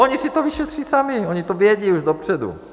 Oni si to vyšetří sami, oni to vědí už dopředu.